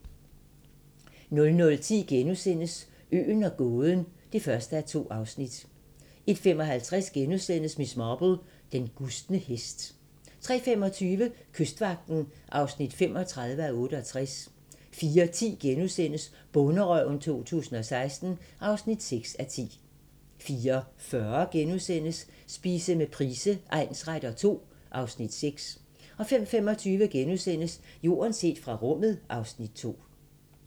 00:10: Øen og gåden (1:2)* 01:55: Miss Marple: Den gustne hest * 03:25: Kystvagten (35:68) 04:10: Bonderøven 2016 (6:10)* 04:40: Spise med Price egnsretter II (Afs. 6)* 05:25: Jorden set fra rummet (Afs. 2)*